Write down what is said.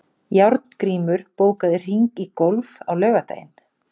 Járngrímur, bókaðu hring í golf á laugardaginn.